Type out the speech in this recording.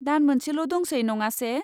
दान मोनसेल' दंसै, नङासे?